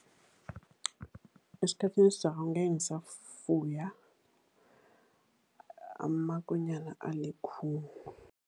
Esikhathini esizako angeke ngisafuya amakonyana alikhulu.